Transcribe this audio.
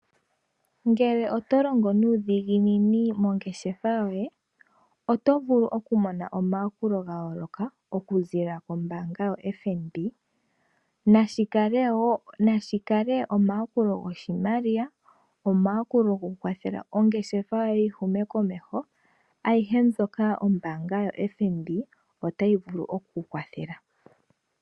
Ngele oto longo nuudhiginini mongeshefa yoye oto vulu oku mono omayakulo gayooloka, oku ziilila kombaanga yoFNB, nashikale omayakulo goshimaliwa, omayakulo goku wathela ongeshefa yoye yi Hume komeho, ayihe mbyoka ombaanga yoFNB otayi vulu oku ku wathela.